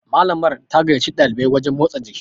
Malamar ta gaiyaci ɗalibai wajen motsa jiki